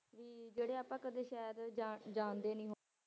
ਕਿ ਜਿਹੜੇ ਆਪਾਂ ਕਦੇ ਸ਼ਾਇਦ ਜਾਣ ਜਾਣਦੇ ਨੀ,